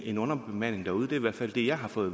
en underbemanding derude det hvert fald det jeg har fået